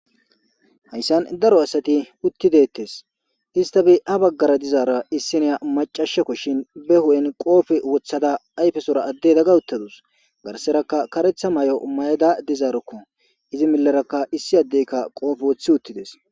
Hayssan daro asati uttideettes hista bi a baggara dizaara issinea macashakko shin be hu7en qoofe woththada ayfesora adde dagga uttadus garserakka karetha may7o may7ada dizaarokko izi millarakka issi addeykka qoofe woththi uttides